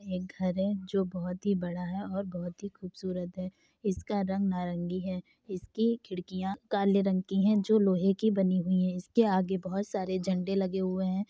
एक घर है जो बहुत ही बड़ा है और बहुत ही खूबसूरत है इसका रंग नारंगी है इसकी खिड़कियाँ काले रंग की हैं जो लोहे की बनी हुई हैं इसके आगे बहोत सारे झंडे लगे हुए हैं।